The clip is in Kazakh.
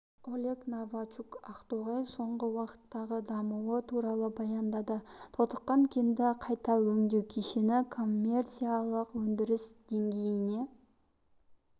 олег новачук ақтоғай соңғы уақыттағы дамуы туралы баяндады тотыққан кенді қайта өңдеу кешені коммерциялық өндіріс деңгейіне